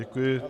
Děkuji.